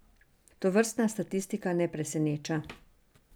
Tovrstna statistika ne preseneča.